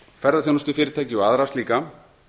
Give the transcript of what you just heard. ferðaþjónustufyrirtæki og aðra slíka